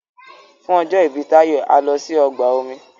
fún ọjọ ibi Tayo a lò sí ọgbà omi